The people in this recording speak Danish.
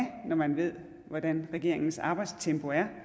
når man ved hvordan regeringens arbejdstempo er